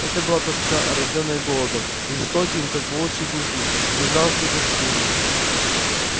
это была тоска рождённая голодом жестоким как волчьи клыки безжалостным как стужа